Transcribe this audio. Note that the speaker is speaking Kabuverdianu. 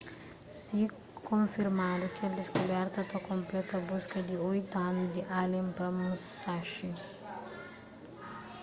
si konfirmadu kel diskuberta ta konpleta buska di oitu anu di allen pa musashi